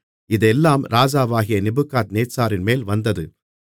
இதெல்லாம் ராஜாவாகிய நேபுகாத்நேச்சாரின்மேல் வந்தது